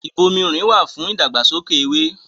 Ìbomirin wà fún ìdàgbàsókè ewé